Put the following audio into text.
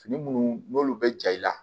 Fini minnu n'olu bɛ ja i la